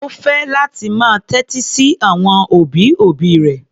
Ó fẹ́ láti máa tẹ́tí sí àwọn òbí-òbí rẹ̀.